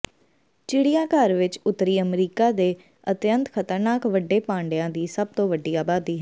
ਚਿੜੀਆਘਰ ਵਿਚ ਉੱਤਰੀ ਅਮਰੀਕਾ ਦੇ ਅਤਿਅੰਤ ਖਤਰਨਾਕ ਵੱਡੇ ਪਾਂਡਿਆਂ ਦੀ ਸਭ ਤੋਂ ਵੱਡੀ ਆਬਾਦੀ ਹੈ